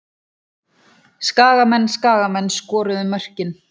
Skagamenn Skagamenn skoruðu mörkin.